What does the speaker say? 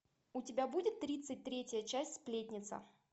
у тебя будет тридцать третья часть сплетница